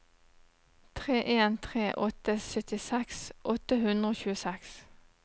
tre en tre åtte syttiseks åtte hundre og tjueseks